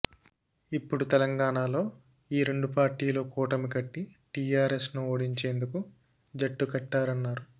ఇప్పుడు తెలంగాణలో ఈ రెండు పార్టీలు కూటమి కట్టి టీఆర్ఎస్ ను ఓడించేందుకు జట్టుకట్టారన్నారు